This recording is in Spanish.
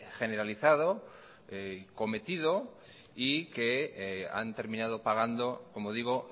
generalizado y cometido y que han terminado pagando como digo